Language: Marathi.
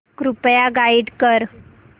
कृपया गाईड कर